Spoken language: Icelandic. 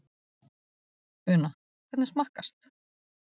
Una, hvernig smakkast?